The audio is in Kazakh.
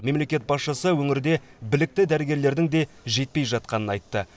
мемлекет басшысы өңірде білікті дәрігерлердің де жетпей жатқанын айтты